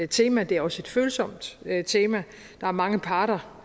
tema og det er også et følsomt tema der er mange parter